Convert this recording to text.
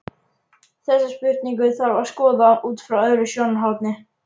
Þessa spurningu þarf að skoða út frá öðru sjónarhorni.